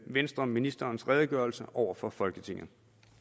venstre ministerens redegørelse over for folketinget